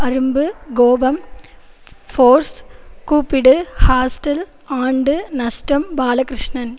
அரும்பு கோபம் ஃபோர்ஸ் கூப்பிடு ஹாஸ்டல் ஆண்டு நஷ்டம் பாலகிருஷ்ணன்